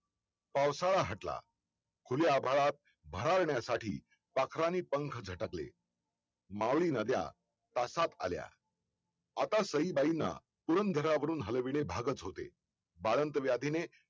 पावसाळा हटला उन्ह्या भरात भरारण्यासाठी पाखरांनी पंख झटकले मावळी नद्या तासात झाल्या आता साईबाईंना पुरंदरावरून हलवणे भागच होते बाळंत व्याधीने